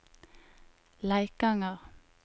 Leikanger